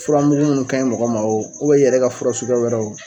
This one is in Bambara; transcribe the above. Furamugu munnu ka ɲi mɔgɔ ma o i yɛrɛ ka fura suguya wɛrɛ.